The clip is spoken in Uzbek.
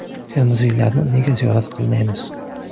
Termiziylarni nega ziyorat qilmaymiz?